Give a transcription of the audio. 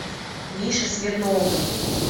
мише смирнову